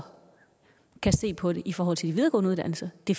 kan se på det i forhold til de videregående uddannelser det